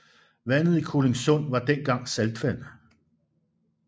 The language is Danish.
Vandet i Kolindsund var dengang saltvand